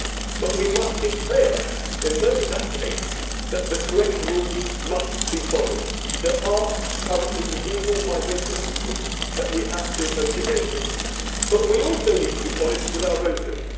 life. But we must be clear, in that case, that the correct rules must be followed. There are currently legal migration systems that we have to adhere to. However, we also need to be honest with